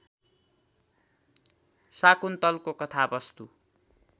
शाकुन्तलको कथावस्तु